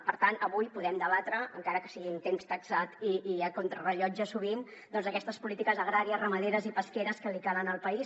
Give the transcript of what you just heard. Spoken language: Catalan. per tant avui podem debatre encara que sigui amb temps taxat i contra rellotge sovint doncs aquestes polítiques agràries ramaderes i pesqueres que li calen el país